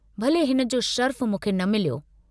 भले हिनजो शरफु मूंखे न मिलियो।